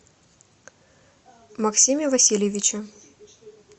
максиме васильевиче